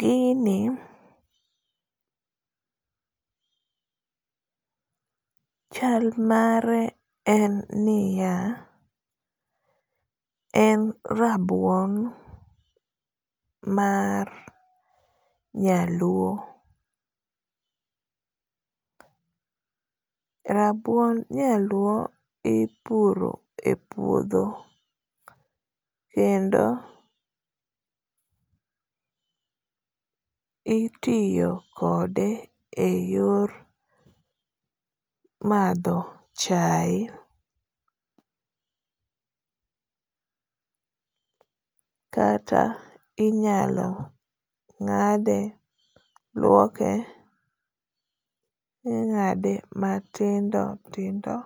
gini chal mare en ni ya en rabuon mar nyaluo, rabuon nyaluo ipuro e puodho kendo itiyo kode e yor madho chae kata inyalo ng'ade, luoke ing'ade matindo tindo